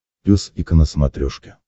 пес и ко на смотрешке